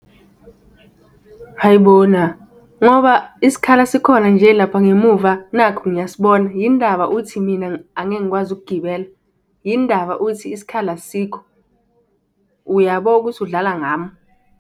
Hhayi bona, ngoba isikhala sikhona nje lapha ngemuva, nakhu ngiyasibona, yinindaba uthi mina angeke ngikwazi ukugibela? Yinindaba uthi isikhala asikho uyabo ukuthi udlala ngami?